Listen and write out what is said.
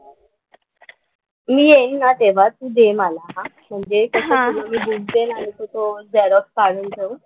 मी येईन ना तेव्हा तू दे मला, म्हणजे कसं ना मी तुला बुक देणार होते तो झेरॉक्स काढून ठेव.